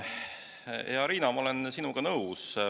Hea Riina, ma olen sinuga nõus.